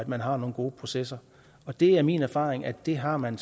man har nogle gode processer det er min erfaring at det har man